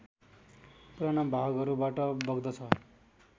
पुराना भागहरूबाट बग्दछ